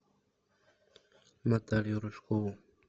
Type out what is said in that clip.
наталью рыжкову